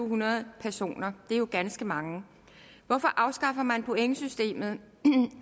hundrede personer det er jo ganske mange hvorfor afskaffer man pointsystemet